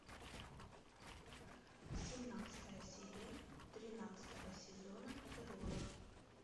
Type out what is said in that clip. семнадцатая серия тринадцатого сезона террора